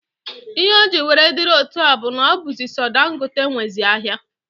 Ihe o ji were diri otu a bụ n'ọ bụzị so Dangote nwezi ahịa.